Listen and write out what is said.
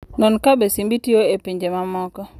Non kabe simbi tiyo e pinje mamoko.